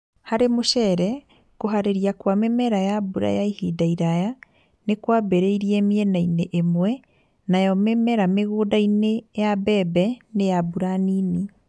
Hari͂ mu͂ceere, ku͂haari͂ria kwa mimera ya mbura ya ihinda iraya, ni kwambi͂ri͂ire mienaine imwe nayo mimera mi͂gunda-ini͂ ya mbebe ni ya mbura nini.